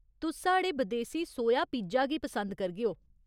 तुस साढ़े बदेसी सोया पिज्जा गी पसंद करगेओ।